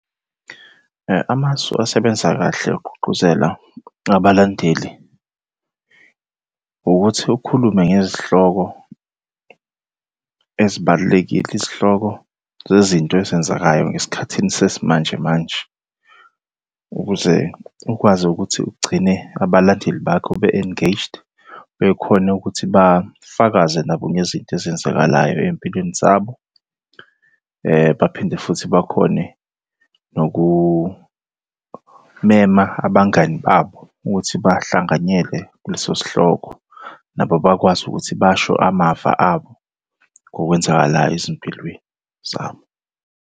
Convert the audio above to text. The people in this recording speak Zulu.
Amasu asebenza kahle ukugqugquzela abalandeli, ukuthi ukhulume ngezihloko ezibalulekile, izihloko zezinto ezenzekayo ngesikhathini sesimanje manje, ukuze ukwazi ukuthi ugcine abalandeli bakho be-engaged, bekhone ukuthi bafakaze nabo ngezinto ezenzakalayo ey'mpilweni zabo. Baphinde futhi bakhone nokumema abangani babo ukuthi bahlanganyele kuleso sihloko. Nabo bakwazi ukuthi basho amava abo ngokwenzakalayo ezimpilweni zabo.